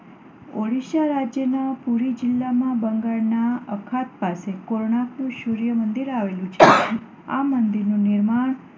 ઓડિશા રાજ્યના પુરી જિલ્લામાં બંગાળના અખાત પાસે કોણાર્કનું સૂર્ય મંદિર આવેલું છે. આ મંદિરનું નિર્માણ